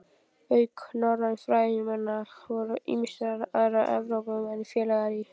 Auk norrænna fræðimanna voru ýmsir aðrir Evrópumenn félagar í